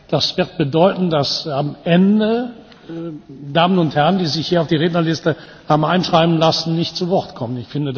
Das wird bedeuten, dass am Ende Damen und Herren, die sich hier auf die Rednerliste haben einschreiben lassen, nicht zu Wort kommen.